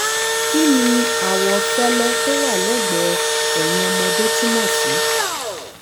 kí ni awọ fẹ́lẹ́ tó wà lẹ́gbẹ̀ẹ́ eyín ọmọdé túmọ̀ sí?